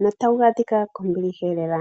no tawu adhika kombiliha lela.